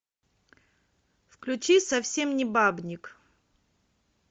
включи совсем не бабник